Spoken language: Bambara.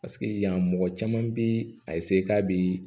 Paseke yan mɔgɔ caman bi a k'a bi